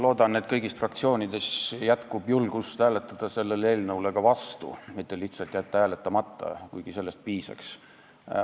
Loodan, et kõigis fraktsioonides jätkub julgust hääletada selle eelnõu vastu, mitte lihtsalt jätta hääletamata, kuigi sellestki piisaks.